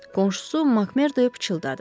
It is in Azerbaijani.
Qonşusu Makmorduya pıçıldadı.